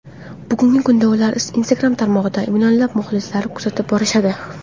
Bugungi kunda ularni Instagram tarmog‘ida millionlab muxlislar kuzatib borishadi.